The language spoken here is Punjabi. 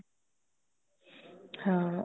ਹਾਂ